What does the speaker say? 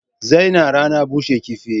Zaina rana bushe kifin jiya